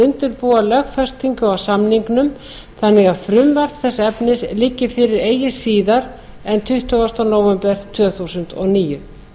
undirbúa lögfestingu á samningnum þannig að frumvarp þess efnis liggi fyrir eigi síðar en tuttugasta nóvember tvö þúsund og níu